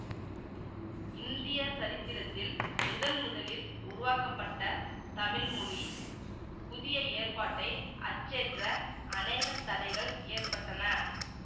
இந்திய சரித்திரத்தில் முதன் முதலில் உருவாக்கப்பட்ட தமிழ் மொழி புதிய ஏற்பாட்டை அச்சேற்ற அநேகத் தடைகள் ஏற்பட்டன